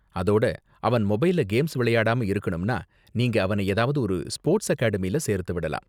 அதோட, அவன் மொபைல்ல கேம்ஸ் விளையாடாம இருக்கணும்னா, நீங்க அவனை ஏதாவது ஒரு ஸ்போர்ட்ஸ் அகாடமியில சேர்த்து விடலாம்.